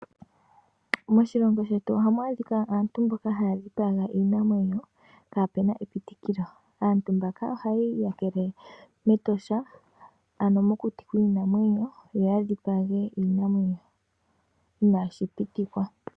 Moshilongo shetu ohamj adhika aantu mboka haya dhipaga iinamwenyo kapena epitikilo. Aantu mboka ohaya iyakele mEtosha, ano mokuti kwiinamwenyo yo ya dhipaga iinamwenyo inashi pitikwa.